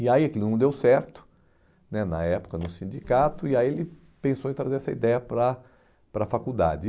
E aí aquilo não deu certo, né na época no sindicato, e aí ele pensou em trazer essa ideia para para a faculdade.